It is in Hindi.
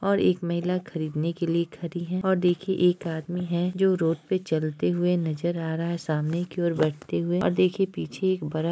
और एक महिला खरीदने के लिए खड़ी है और देखिए एक आदमी है जो रोड पे चलते हुए नजर आ रहा है सामने कि ओर बढ़ते हुए और देखिए पीछे एक बड़ा --